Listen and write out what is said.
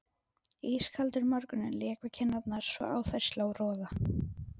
Ískaldur morgunninn lék við kinnarnar svo á þær sló roða.